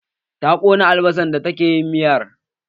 Ta ƙona albasan da take yin miyar